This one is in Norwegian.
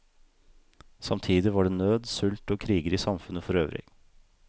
Samtidig var det nød, sult og kriger i samfunnet for øvrig.